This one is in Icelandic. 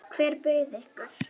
Hver bauð ykkur?